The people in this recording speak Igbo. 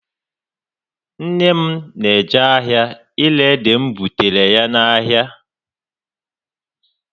Nné m na eje ahịa ire ede m bụtaara ya n'ahịa